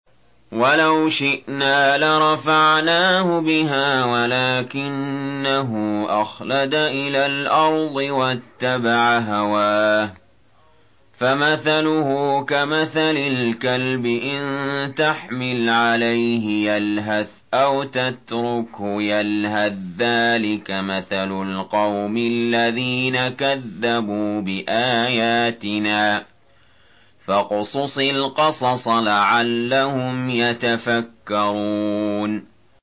وَلَوْ شِئْنَا لَرَفَعْنَاهُ بِهَا وَلَٰكِنَّهُ أَخْلَدَ إِلَى الْأَرْضِ وَاتَّبَعَ هَوَاهُ ۚ فَمَثَلُهُ كَمَثَلِ الْكَلْبِ إِن تَحْمِلْ عَلَيْهِ يَلْهَثْ أَوْ تَتْرُكْهُ يَلْهَث ۚ ذَّٰلِكَ مَثَلُ الْقَوْمِ الَّذِينَ كَذَّبُوا بِآيَاتِنَا ۚ فَاقْصُصِ الْقَصَصَ لَعَلَّهُمْ يَتَفَكَّرُونَ